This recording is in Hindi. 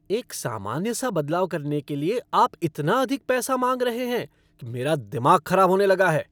एक सामान्य सा बदलाव करने के लिए आप इतना अधिक पैसा मांग रहे हैं कि मेरा दिमाग खराब होने लगा है।